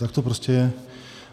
Tak to prostě je.